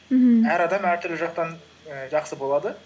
мхм әр адам әртүрлі жақтан і жақсы болады